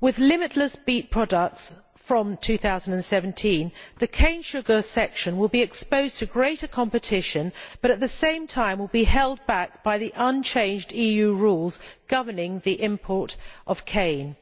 With limitless beet products from 2017, the cane sugar sector will be exposed to greater competition and, at the same time, will be held back by the unchanged EU rules on the import of cane.